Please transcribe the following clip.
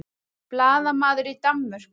Blaðamaður í Danmörku